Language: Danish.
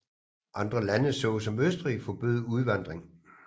Andre lande såsom Østrig forbød udvandring